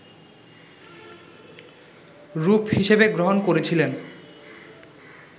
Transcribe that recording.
রূপ হিসেবে গ্রহণ করেছিলেন